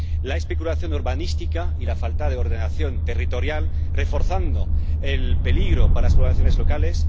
la especulación urbanística y la falta de ordenación territorial, reforzando el peligro para las poblaciones locales